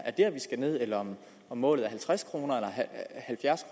er der vi skal ned eller om målet er halvtreds kroner eller halvfjerds